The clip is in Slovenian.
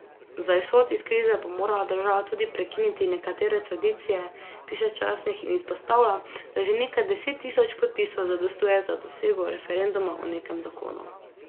Za izhod iz krize bo morala država tudi prekiniti nekatere tradicije, piše časnik in izpostavlja, da že nekaj deset tisoč podpisov zadostuje za dosego referenduma o nekem zakonu.